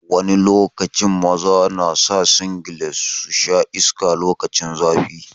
Wani lokaci maza na sa singlet su sha iska lokacin zafi.